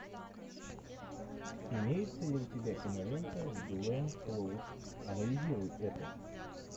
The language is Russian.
имеется ли у тебя кинолента с гленн клоуз анализируй это